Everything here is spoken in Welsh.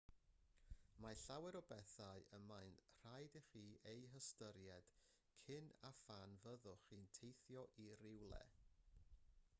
mae llawer o bethau y mae'n rhaid i chi eu hystyried cyn a phan fyddwch chi'n teithio i rywle